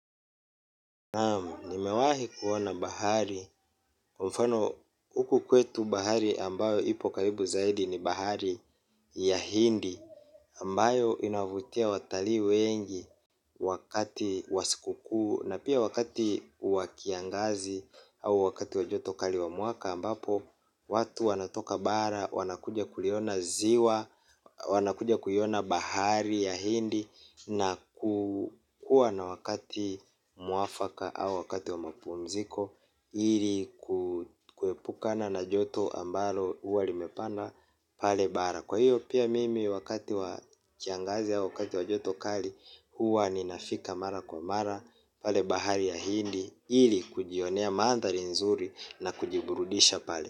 Naam, nimewahi kuona bahari, kwa mfano huku kwetu bahari ambayo ipo karibu zaidi ni bahari ya hindi ambayo inavutia watalii wengi wakati wa sikuku na pia wakati wa kiangazi au wakati wa joto kali wa mwaka ambapo watu wanatoka bara, wanakuja kuliona ziwa, wanakuja kuiona bahari ya hindi na kuwa na wakati mwafaka au wakati wa mapumziko ili kuepukana na joto ambalo huwa limepanda pale bara. Kwa hiyo pia mimi wakati wa kiangazi au wakati wa joto kali huwa ninafika mara kwa mara pale bahari ya hindi. Ili kujionea manthari nzuri na kujiburudisha pale.